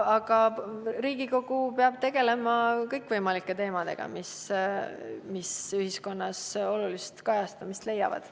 Riigikogu peab tegelema kõikvõimalike teemadega, mis ühiskonnas olulist kajastamist leiavad.